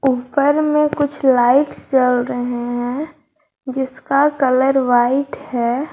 ऊपर में कुछ लाइट जल रही हैं जिसका कलर व्हाइट है।